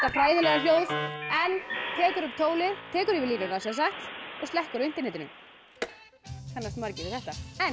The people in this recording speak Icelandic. hræðilega hljóð en tekur upp tólið tekur yfir línuna og slekkur á internetinu það kannast margir við þetta en